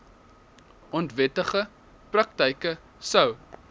onwettige praktyke sou